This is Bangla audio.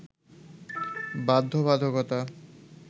বাধ্যবাধকতা